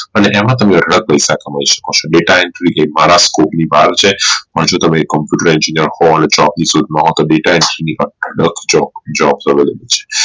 અને એમાં તમેં અઢળક પૈસા કમાવ છો data entry એ મારા scope ની બહાર છે અને જો તમે computer engineer હો અને job ની શોધ માં હો અને data entry ની અઢળક jobs Available છે